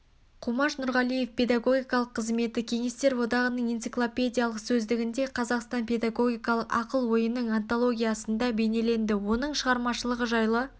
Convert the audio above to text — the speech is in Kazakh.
қумаш нұрғалиевтің педагогикалық қызметі кеңестер одағының энциклопедиялық сөздігінде қазақстан педагогиқалық ақыл ойының антологиясында бейнеленді оның шығармашылығы жайлы